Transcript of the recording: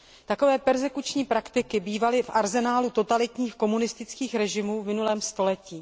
Takové perzekuční praktiky bývaly v arzenálu totalitních komunistických režimů v minulém století.